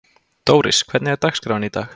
Dóris, hvernig er dagskráin í dag?